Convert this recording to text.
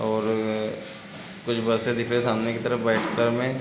और अअअ कुछ बसे दिख रहे सामने की तरफ वाइट कलर में --